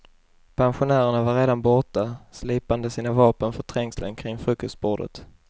Pensionärerna var redan borta, slipande sina vapen för trängseln kring frukostbordet.